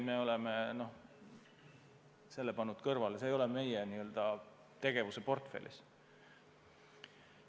Me oleme selle pannud kõrvale, see ei ole meie n-ö tegevuse portfellis.